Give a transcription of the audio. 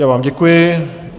Já vám děkuji.